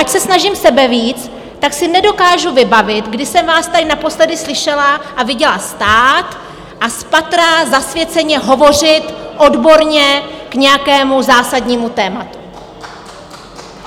Ať se snažím sebevíc, tak si nedokážu vybavit, kdy jsem vás tady naposledy slyšela a viděla stát a spatra zasvěceně hovořit odborně k nějakému zásadnímu tématu.